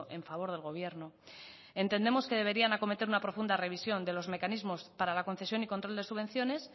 en favor del gobierno entendemos que deberían acometer una profunda revisión de los mecanismos para la concesión y control de subvenciones